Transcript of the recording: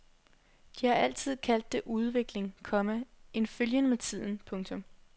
De har altid kaldt det udvikling, komma en følgen med tiden. punktum